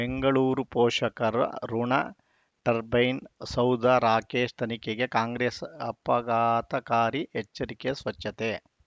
ಬೆಂಗಳೂರು ಪೋಷಕರಋಣ ಟರ್ಬೈನು ಸೌಧ ರಾಕೇಶ್ ತನಿಖೆಗೆ ಕಾಂಗ್ರೆಸ್ ಆಪಘಾತಕಾರಿ ಎಚ್ಚರಿಕೆ ಸ್ವಚ್ಛತೆ